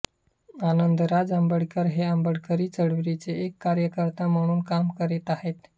आनंदराज आंबेडकर हे आंबेडकरी चळवळीचे एक कार्यकर्ता म्हणून काम करत आहेत